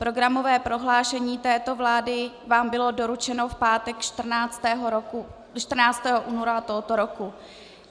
Programové prohlášení této vlády vám bylo doručeno v pátek 14. února tohoto roku.